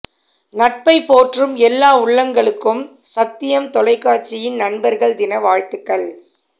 நட்பை போற்றும் எல்லா உள்ளங்களுக்கும் சத்தியம் தொலைக்காட்சியின் நண்பர்கள் தின வாழ்த்துக்கள்